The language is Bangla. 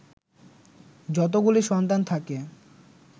যতোগুলি সন্তান থাকে